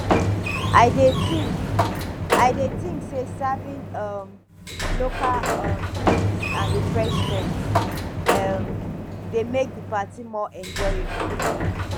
i dey think i dey think say serving um local um dishes and refreshments um dey make di party more enjoyable